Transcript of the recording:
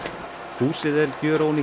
húsið er